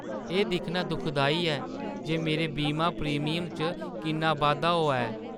एह् दिक्खना दुखदाई ऐ जे मेरे बीमा प्रीमियम च किन्ना बाद्धा होआ ऐ।